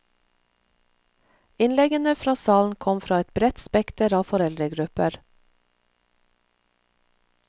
Innleggene fra salen kom fra et bredt spekter av foreldregrupper.